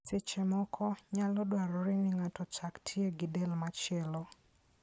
Seche moko, nyalo dwarore ni ng'ato ochak tiye gi del machielo.